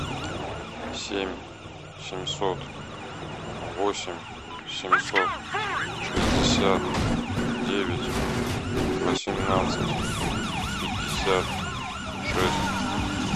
семь семьсот восемь семьсот шестьдесят девять восемнадцать пятьдесят шесть